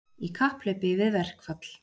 Í kapphlaupi við verkfall